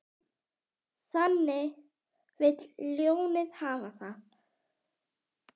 Þannig vill ljónið hafa það.